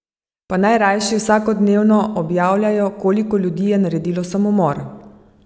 Pa naj rajši vsakodnevno objavljajo, koliko ljudi je naredilo samomor!